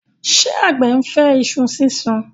ṣe àgbẹ̀ ńfẹ iṣu sísun?